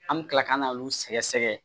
An bɛ kila ka na olu sɛgɛsɛgɛ